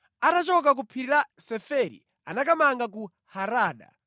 Atachoka ku phiri la Seferi anakamanga ku Harada.